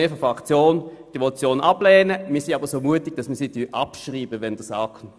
Auch Leistungsvereinbarungen zu machen ist nicht einfach, das haben schon Vorredner gesagt.